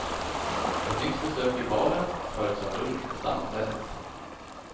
Ett nytt besök i baren följs av lunch på stamstället.